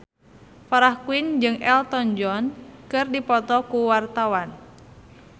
Farah Quinn jeung Elton John keur dipoto ku wartawan